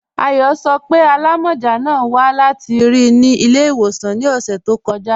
Ayọ sọ́ pé alámọ́já náà wà láti ri ni ilẹ̀-iwosan ni ọṣẹ̀ tó kọja.